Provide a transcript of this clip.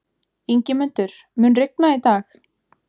Ingimundur, mun rigna í dag?